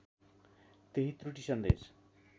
त्यही त्रुटी सन्देश